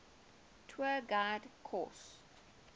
tour guide course